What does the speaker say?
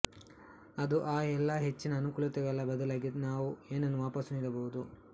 ಅದು ಆ ಎಲ್ಲಾ ಹೆಚ್ಚಿನ ಅನುಕೂಲತೆಗಳ ಬದಲಾಗಿ ನಾವು ಏನನ್ನು ವಾಪಸು ನೀಡಬಹುದು